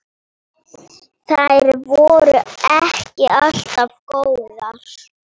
Þær voru ekki alltaf góðar.